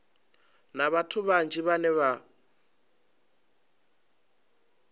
na vhathu vhanzhi vhane vha